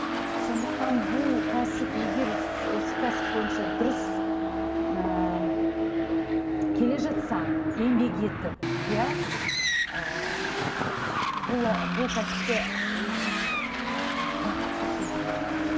сондықтан бұл кәсіп егер осы кәсіп бойынша дұрыс ыыы келе жатсаң еңбек етіп иә ы бұл кәсіпте өзін бақытты сезіне аласың